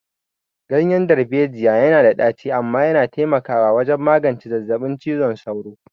Ganyen darbejiya yana da ɗaci amma yana taimakawa wajen magance zazzabin cizon sauro.